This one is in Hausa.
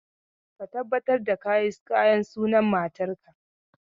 Ka tabbatar da ka yi kayan sunan matarka!